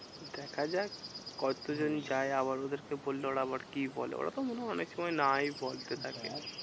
দেখাযাক কতজন যায়? আবার ওদেরকে বললে ওরা আবার কি বলে? ওরা তো মনে হয় অনেক সময় নাই দেখ বলতে থাকে।